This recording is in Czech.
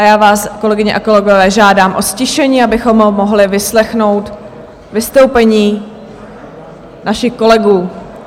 A já vás, kolegyně a kolegové, žádám o ztišení, abychom mohli vyslechnout vystoupení našich kolegů.